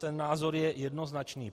Ten názor je jednoznačný.